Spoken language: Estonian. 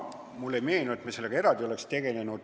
Mulle ei meenu, et me selle teemaga eraldi oleks tegelenud.